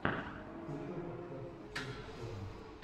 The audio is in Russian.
включай подкаст турд пони